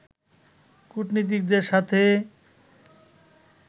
কূটনীতিকদের সাথে